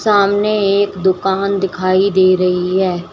सामने एक दुकान दिखाई दे रही है।